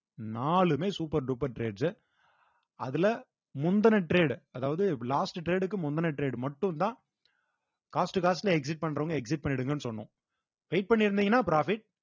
நாலுமே super duper trades உ அதுல முந்துன trade அதாவது last trade க்கு முந்துன trade மட்டும்தான் cost cost ன்னு exit பண்றவங்க exit பண்ணிடுங்கன்னு சொன்னோம் wait பண்ணியிருந்தீங்கன்னா profit